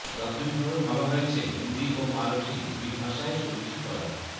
প্রাথমিক ভাবে ভাবা হয়েছে হিন্দি ও মারাঠী দুই ভাষায় ছবিটি করার